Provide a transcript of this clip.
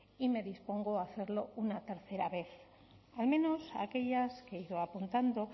y me dispongo a hacerlo una tercera vez al menos aquellas que he ido apuntando